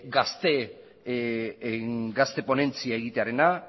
gazte ponentzia egitearena